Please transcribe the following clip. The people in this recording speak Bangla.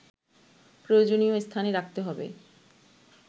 প্রয়োজনীয় স্থানে রাখতে হবে